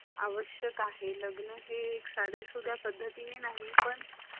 आवश्यक आहे. लग्न हे एक साधा सुधा पद्धतीने नाही पण